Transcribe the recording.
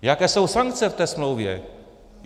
Jaké jsou sankce v té smlouvě?